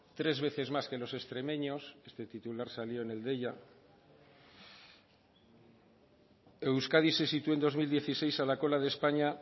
tres veces más que los extremeños este titular salió en el deia euskadi se sitúa en dos mil dieciséis a la cola de españa